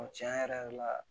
tiɲɛ yɛrɛ la